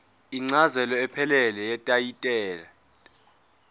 incazelo ephelele yetayitela